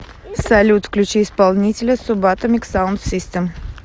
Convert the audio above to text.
салют включи исполнителя субатомик саунд систем